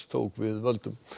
tók við völdum